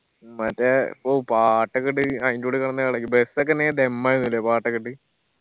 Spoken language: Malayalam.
മ്മ് മറ്റേ ഓ പാട്ടൊക്കെ ഇട്ട് അയിന്റെ ഉള്ളീ കെടന്ന് എളകി bus ഒക്കെ ധെമ്മായിനുല്ലേ പാട്ടൊക്കെ ഇട്ട്